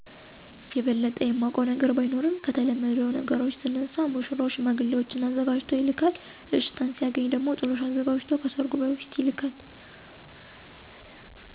የበለጠ የማውቀው ነገር ባይኖርም ከተለመደው ነገሮች ስነሳ ሙሽራው ሽማግሌዎች አዘጋጅቶ ይልካል አሽታን ሲያገኝ ደሞ ጥሎሽ አዘጋጅቶ ከሰርጉ በፊት ይልካል።